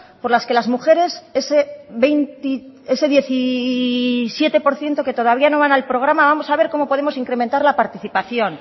por las que las mujeres ese diecisiete por ciento que todavía no van al programa vamos a ver cómo podemos incrementar la participación